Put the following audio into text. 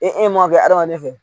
E kɛ adamaden fɛ.